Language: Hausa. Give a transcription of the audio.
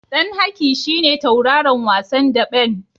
Ɗan Haki shi ne tauraron wasan daɓen.